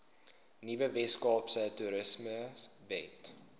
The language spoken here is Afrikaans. nuwe weskaapse toerismewet